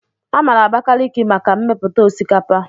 A maara Abakalaki maka mmepụta osikapa.